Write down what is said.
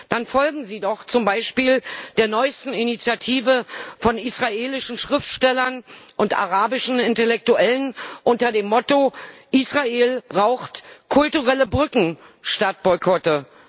Dann folgen Sie doch zum Beispiel der neuesten Initiative von israelischen Schriftstellern und arabischen Intellektuellen unter dem Motto Israel braucht kulturelle Brücken statt Boykotte.